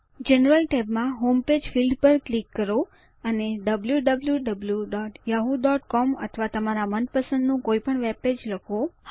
general tab માં home page field પર click કરો અને wwwyahoocom અથવા તમારા મનપસંદનું કોઈ પણ વેબપેજ લખો